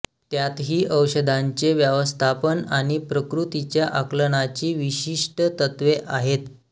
त्यातही औषधांचे व्यवस्थापन आणि प्रकृतीच्या आकलनाची विशिष्ट तत्त्वे आहेत